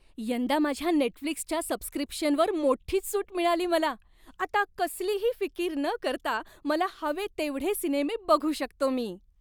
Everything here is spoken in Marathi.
यंदा माझ्या नेटफ्लिक्सच्या सबस्क्रिप्शनवर मोठीच सूट मिळाली मला. आता कसलीही फिकीर न करता मला हवे तेवढे सिनेमे बघू शकतो मी.